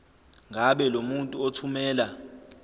ngabe lomuntu othumela